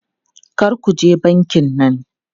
Kar ku je bankin nan!